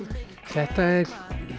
þetta er